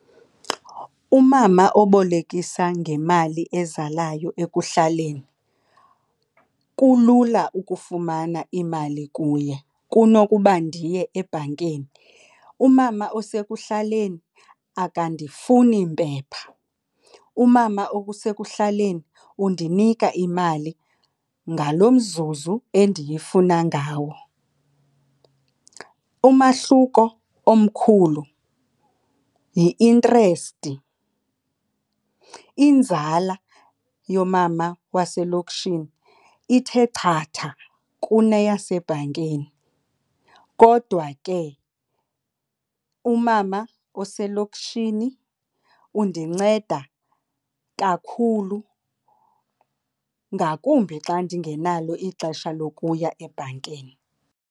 Umama obolekisa ngemali ezalayo ekuhlaleni kulula ukufumana imali kuye kunokuba ndiye ebhankini. Umama osekuhlaleni akandifuni mpepha, umama osekuhlaleni undinika imali ngalo mzuzu endiyifuna ngawo. Umahluko omkhulu yi-interest. Inzala yoomama waselokishini ithe chatha kuneyasebhankini kodwa ke umama oselokishini undinceda kakhulu ngakumbi xa ndingenalo ixesha lokuya ebhankini.